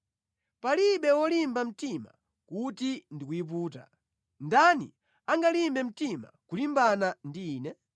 Palibe wolimba mtima kuti ndi kuyiputa. Ndani angalimbe mtima kulimbana ndi Ine?